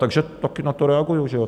Takže také na to reaguji, že jo.